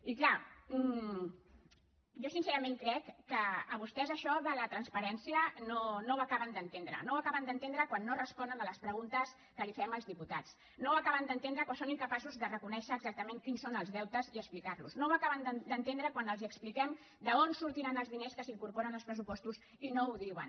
i és clar jo sincerament crec que vostès això de la transparència no ho acaben d’entendre no ho acaben d’entendre quan no responen a les preguntes que li fem els diputats no ho acaben d’entendre quan són incapaços de reconèixer exactament quins són els deutes i explicar los no ho acaben d’entendre quan els expliquem d’on sortiran els diners que s’incorporen als pressupostos i no ho diuen